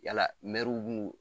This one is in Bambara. Yala mɛruw bu nu